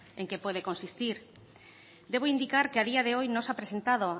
en qué puede consistir debo indicar que a día de hoy no se ha presentado